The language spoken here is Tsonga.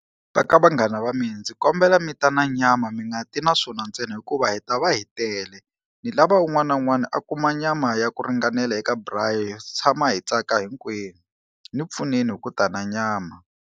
Ka vanghana va mina ndzi kombela mi ta na nyama mi nga ti na swona ntsena hikuva hi ta va hi tele ni lava un'wana na un'wana a kuma nyama ya ku ringanela eka braai hi tshama hi tsaka hinkwenu, ni pfuneni hi ku ta na nyama.